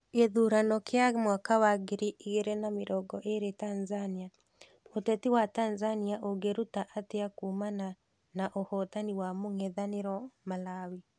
Gĩthurano kĩa mwaka wa ngiri igĩrĩ na mĩrongo ĩrĩ Tanzania: ũteti wa Tanzania ũngĩruta atĩa kumana na ũhotani wa mũng'ethanĩro Malawi.